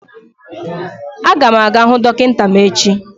A ga m aga hụ dọkịta m echi